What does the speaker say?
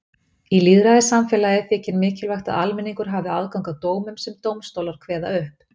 Í lýðræðissamfélagi þykir mikilvægt að almenningur hafi aðgang að dómum sem dómstólar kveða upp.